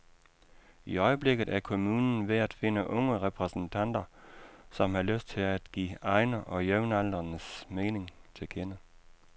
I øjeblikket er kommunen ved at finde unge repræsentanter, som har lyst til at give egne og jævnaldrendes mening til kende.